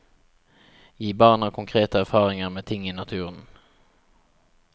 Gi barna konkrete erfaringer med ting i naturen.